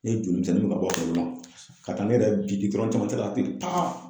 Ne joli jan ye ne ma bɔ a kalama, ka taa ne yɛrɛ bin camancɛla ten taa.